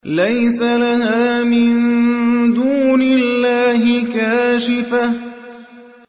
لَيْسَ لَهَا مِن دُونِ اللَّهِ كَاشِفَةٌ